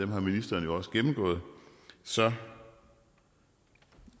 har ministeren jo gennemgået så